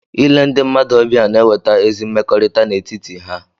Ile ndị mmadụ ọbịa na-eweta ezi mmekọrịta n’etiti ha